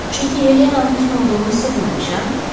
Çünki Helenanın kim olduğunu sizə deməmişəm?